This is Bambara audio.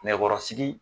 Nɛgɛkɔrɔsigi